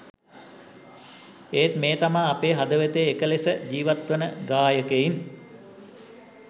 එත් මේ තමා අපේ හදවතේ එක ලෙස ජීවත්වන ගායකයින්